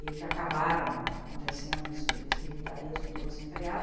e que acabaram acontecendo nesse nesse militarismo todo desenfreado.